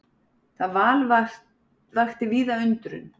Það val vakti víða undrun.